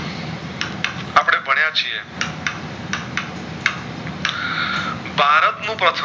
પક્ષ